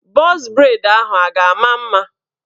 Bọz breid ahụ a ga-ama m mma?